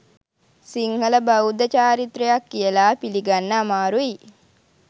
සිංහල බෞද්ධ චාරිත්‍රයක් කියලා පිළිගන්න අමාරුයි.